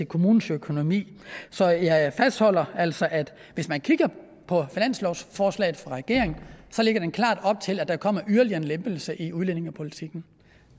kommunens økonomi så jeg fastholder altså at hvis man kigger på finanslovsforslaget fra regeringen så lægger det klart op til at der kommer yderligere en lempelse i udlændingepolitikken